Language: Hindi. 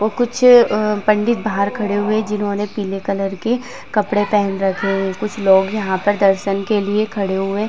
और कुछ पंडित बाहर खड़े हुए हैं जिन्होंने पीले कलर के कपड़े पहने रखे हैं। कुछ लोग यहाँ पर दर्शन के लिए खड़े हुए --